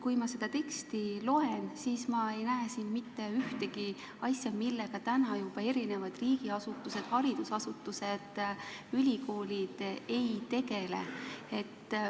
Kui ma seda teksti loen, siis ei näe ma siin mitte ühtegi asja, millega täna juba erinevad riigiasutused, haridusasutused, ülikoolid ei tegeleks.